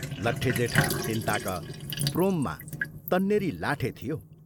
लट्टे जेठा तिनताक प्रोममा तन्नेरी लाठे थियो।